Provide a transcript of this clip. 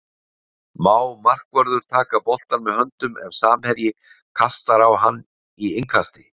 Má markvörður taka boltann með höndum ef samherji kastar á hann í innkasti?